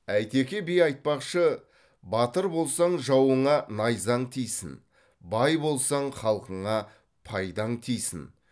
әйтеке би айтпақшы батыр болсаң жауыңа найзаң тисін бай болсаң халқыңа пайдаң тисін